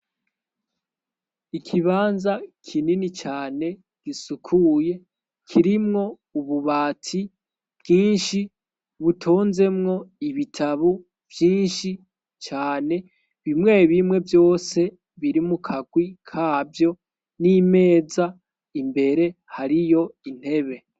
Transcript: Ikibanza kinini cane gisukuye, kirimwo ububati bwinshi butonzemwo ibitabo vyinshi cane, bimwe bimwe vyose biri mukagwi kavyo, n'imeza imbere hariyo intebe.